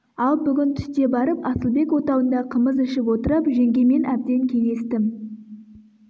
ал бүгін түсте барып асылбек отауында қымыз ішіп отырып жеңгемен әбден кеңестім